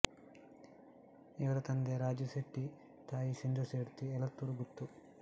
ಇವರ ತಂದೆ ರಾಜು ಸೆಟ್ಟಿ ತಾಯಿ ಸಿಂಧು ಸೆಡ್ತಿ ಎಳತ್ತೂರು ಗುತ್ತು